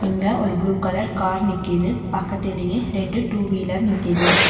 இங்க ஒரு blue colour car நிக்கிது பக்கத்திலயே ரெண்டு டூ வீலர் நிக்கிது.